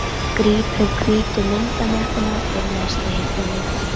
. samkvæmt tillögu Guðjóns Samúelssonar húsameistara árið